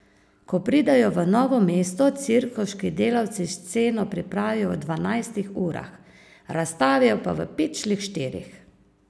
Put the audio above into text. Ko pridejo v novo mesto, cirkuški delavci sceno pripravijo v dvanajstih urah, razstavijo pa v pičlih štirih.